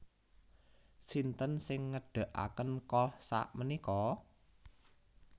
Sinten sing ngedekaken Kohls sakmenika?